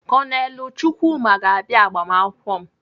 Kọnelụ Chukwuma ga-abịa agbamakwụkwọ m.